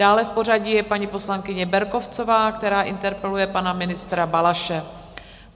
Dále v pořadí je paní poslankyně Berkovcová, která interpeluje pana ministra Balaše.